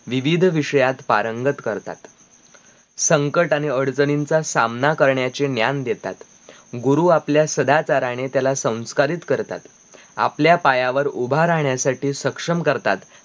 विविध विषयात पारंगत करतात संकट आणि अडचणींचा सामना करण्याचे ज्ञान देतात गुरु आपल्या सदाचारने त्याला संस्कारित करतात आपल्या पायावर ऊभा राहण्यासाठी सक्षम करतात